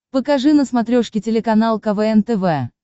покажи на смотрешке телеканал квн тв